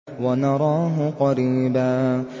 وَنَرَاهُ قَرِيبًا